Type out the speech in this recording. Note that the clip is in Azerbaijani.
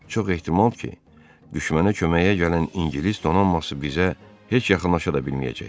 Çox ehtimal ki, düşmənə köməyə gələn İngilis donanması bizə heç yaxınlaşa da bilməyəcək.